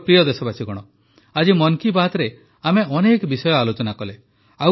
ମୋର ପ୍ରିୟ ଦେଶବାସୀଗଣ ଆଜି ମନ୍ କୀ ବାତ୍ରେ ଆମେ ଅନେକ ବିଷୟ ଆଲୋଚନା କଲେ